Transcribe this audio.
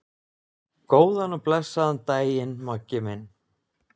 Góðan og blessaðan daginn, Maggi minn.